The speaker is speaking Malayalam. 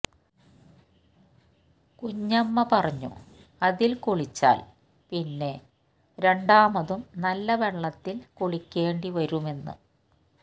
കുഞ്ഞമ്മ പറഞ്ഞു അതില് കുളിച്ചാല് പിന്നെ രണ്ടാമതും നല്ല വെള്ളത്തില് കുളിക്കേണ്ടി വരുമെന്ന്